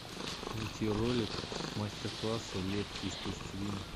найти ролик мастер класса лепки из пластилина